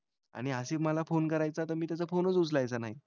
आणि आसिफ मला फोन करायचा तर मी त्याचा फोनच उचलायचा नाही.